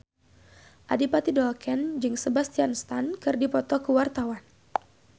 Adipati Dolken jeung Sebastian Stan keur dipoto ku wartawan